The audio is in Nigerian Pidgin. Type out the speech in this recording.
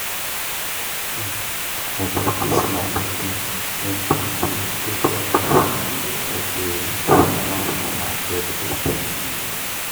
um i dey teach my pikin make dem dey greet elders wey dey sidon for market gate.